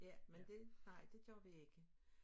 Ja men det nej det gør vi ikke